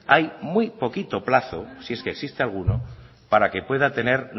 hay muy poquito plazo si es que existe alguno para que pueda tener